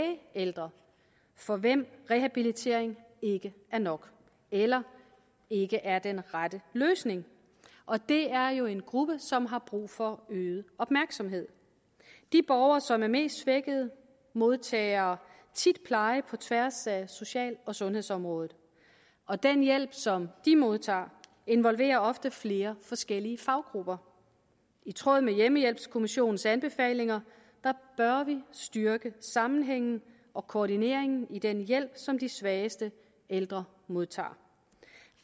ældre for hvem rehabilitering ikke er nok eller ikke er den rette løsning og det er jo en gruppe som har brug for øget opmærksomhed de borgere som er mest svækkede modtager tit pleje på tværs af social og sundhedsområdet og den hjælp som de modtager involverer ofte flere forskellige faggrupper i tråd med hjemmehjælpskommissionens anbefalinger bør vi styrke sammenhængen og koordineringen i den hjælp som de svageste ældre modtager